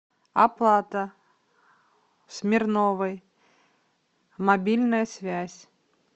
оплата смирновой мобильная связь